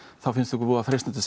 finnst okkur mjög freistandi að